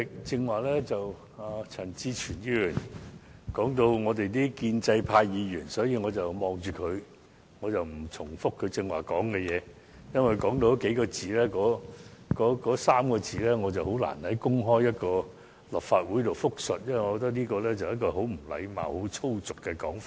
主席，陳志全議員剛才曾提到建制派議員，我不在此重複他的說話，因為他所說的那3個字，我很難在立法會公開複述，因我認為那是很不禮貌和粗俗的說法。